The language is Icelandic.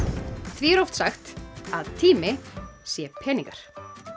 því er oft sagt að tími sé peningar